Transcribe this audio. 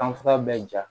Kan fura bɛ ja